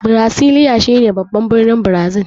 Birasiliya shi ne baban birnin Brazil.